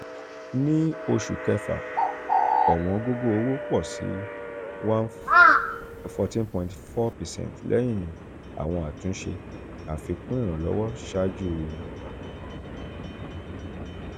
ni oṣu um kẹfa um ọ̀wọ́ngógó owo pọ si fourteen point four percent lẹyin awọn atunṣe um afikun iranlowo ṣaaju fy nineteen.